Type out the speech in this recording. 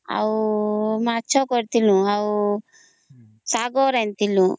ଆଉ ମାଛ କରିଥିଲୁ ଆଉ ଶାଗ ରାନ୍ଧିଥିଲୁ